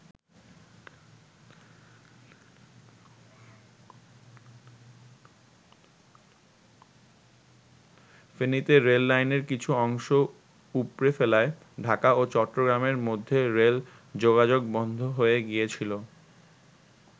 ফেনীতে রেললাইনের কিছু অংশ উপড়ে ফেলায় ঢাকা ও চট্টগ্রামের মধ্যে রেল যোগাযোগ বন্ধ হয়ে গিয়েছিল।